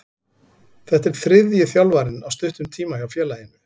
Þetta er þriðji þjálfarinn á stuttum tíma hjá félaginu.